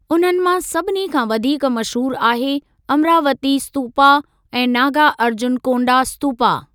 उन्हनि मां सभिनी खां वधीक मशहूर आहे अम्रावती स्तूपा ऐं नागार्जुनकोंडा स्तूपा।